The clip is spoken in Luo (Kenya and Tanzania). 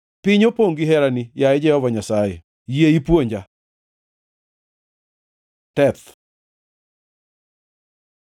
Piny opongʼ gi herani, yaye Jehova Nyasaye; yie ipuonja chikeni. ט Teth